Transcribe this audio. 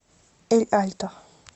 эль альто